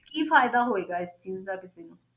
ਕੀ ਫ਼ਾਇਦਾ ਹੋਏਗਾ ਇਸ ਚੀਜ਼ ਦਾ ਕਿਸੇ ਨੂੰ,